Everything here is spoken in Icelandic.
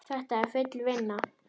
Þetta er full vinna!